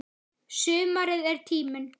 Sumarið er tíminn.